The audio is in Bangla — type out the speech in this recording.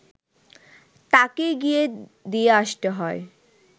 তাকেই গিয়ে দিয়ে আসতে হয়